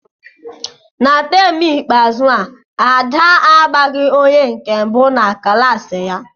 Na taam ikpeazụ a, Ada a gbaghị onye nke mbụ na klaasị ya.